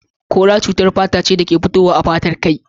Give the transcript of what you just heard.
Kora cutar fata ce dake fitowa a fatar kai.